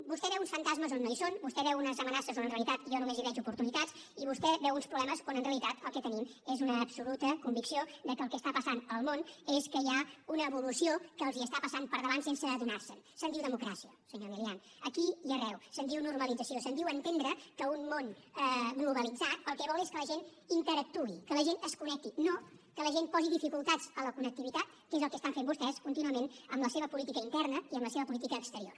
vostè veu uns fantasmes on no hi són vostè veu unes amenaces on en realitat jo només veig oportunitats i vostè veu uns problemes on en realitat el que tenim és una absoluta convicció de que el que passa al món és que hi ha una evolució que els està passant per davant sense adonar se’n se’n diu democràcia senyor milián aquí i arreu se’n diu normalització se’n diu entendre que un món globalitzat el que vol és que la gent interactuï que la gent es connecti no que la gent posi dificultats a la connectivitat que és el que fan vostè contínuament amb la seva política interna i amb la seva política exterior